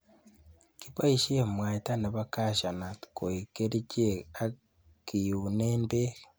Kiboisiek mwaita nebo Cashew nut koik kerichek ak kiunen bek.